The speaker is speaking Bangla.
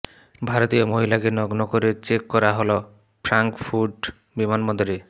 ভারতীয় মহিলাকে নগ্ন করে চেক করা হল ফ্রাঙ্কফুর্ট বিমানবন্দরে